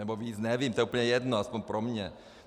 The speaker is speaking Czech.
Nebo víc, nevím, to je úplně jedno, alespoň pro mě.